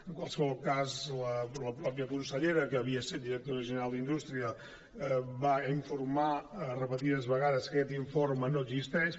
en qualsevol cas la mateixa consellera que havia set directora general d’indústria va informar repetides vegades que aquest informe no existeix